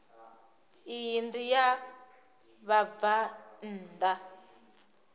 iyi ndi ya vhabvann ḓa